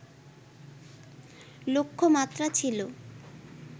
লক্ষ্যমাত্রা ছিল